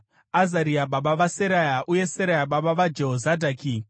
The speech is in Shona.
Azaria baba vaSeraya uye Seraya baba vaJehozadhaki.